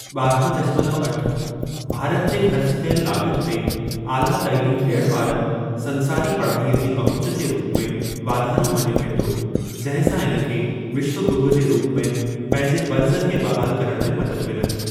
ॿारहां दशमलव अठ, भारत जे ख़र्च कयलु लाॻति ते आला तइलीम ॾियण वारनि संसारी पढ़ाईअ जी पहुच जे रूप में वाधारो मञियो वेंदो, जंहिं सां इन खे विश्व गुरूअ जे रूप में पंहिंजे फ़र्ज़ खे बहाल करण में मदद मिलंदी।